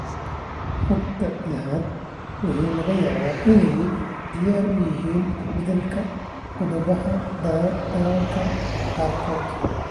Factor XI waxa laga yaabaa inay diyaar u yihiin beddelka qodobbada dalalka qaarkood.